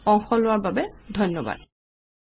Ltd অংশ লোৱাৰ বাবে ধন্যবাদ।